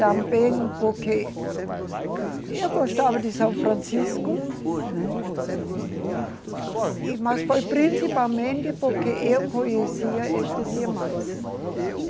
Também porque eu gostava de São Francisco, né, e mas foi principalmente porque eu conhecia estes irmãs.